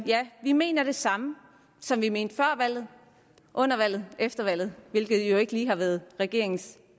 ja vi mener det samme som vi mente før valget under valget og efter valget hvilket jo ikke lige har været regeringens